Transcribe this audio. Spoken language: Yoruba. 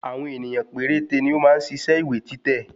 Àwọn ènìyàn péréte ni ó máa ń ṣiṣẹ́ ìwé títẹ̀